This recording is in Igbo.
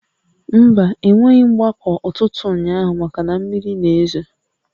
Mba, e nweghị mgbakọ ụtụtụ ụnyaahụ maka na mmiri na-ezo